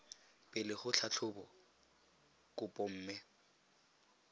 pele go tlhatlhoba kopo mme